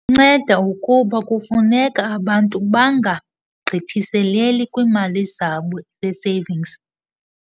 nceda ukuba kufuneka abantu bangagqithiseleli kwiimali zabo zee-savings.